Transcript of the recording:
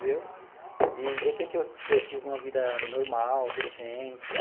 Entendeu e de repente, eu eu tive uma vida normal, decente.